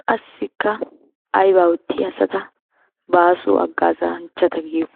Qassikka aybaa oottiya asata baaso haggazanchchata giyo?